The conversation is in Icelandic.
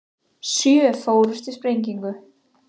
Sjö fórust í sprengingu